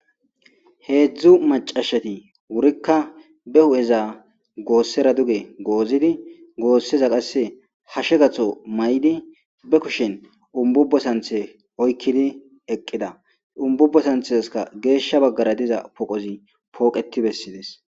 heedzdzu macashati wurikka be hu7eza goossera duge goozidi goosseza qasse ha shegatho may7di be kushin umbubbo santhe oykkidi eqqida umbubbo santheska geeshsha baggara diza poqozi pooqeti bessides